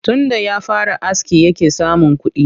Tunda ya fara aski yake samun kuɗi